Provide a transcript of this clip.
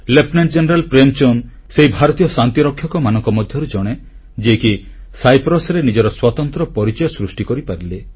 lieutenant general Premchand ସେହି ଭାରତୀୟ ଶାନ୍ତିରକ୍ଷକମାନଙ୍କ ମଧ୍ୟରୁ ଜଣେ ଯିଏକି ସାଇପ୍ରସରେ ନିଜର ସ୍ୱତନ୍ତ୍ର ପରିଚୟ ସୃଷ୍ଟି କରିପାରିଲେ